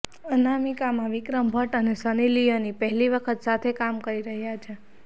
અનામિકામાં વિક્રમ ભટ્ટ અને સની લિયોની પહેલી વખત સાથે કામ કરી રહ્યા છે